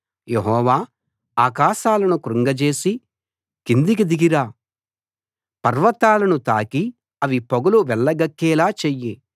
యెహోవా ఆకాశాలను కృంగజేసి కిందికి దిగిరా పర్వతాలను తాకి అవి పొగలు వెళ్ళగక్కేలా చెయ్యి